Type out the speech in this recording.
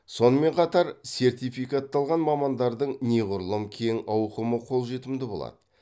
сонымен қатар сертификатталған мамандардың неғұрлым кең ауқымы қолжетімді болады